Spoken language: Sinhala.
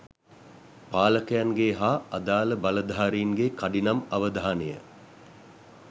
පාලකයන්ගේ හා අදාල බලධාරීන්ගේ කඩිනම් අවධානය